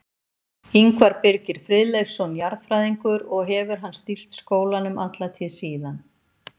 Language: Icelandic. Ingvar Birgir Friðleifsson jarðfræðingur, og hefur hann stýrt skólanum alla tíð síðan.